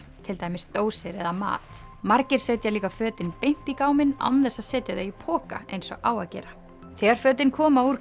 til dæmis dósir eða mat margir setja líka fötin beint í gáminn án þess að setja þau í poka eins og á að gera þegar fötin koma úr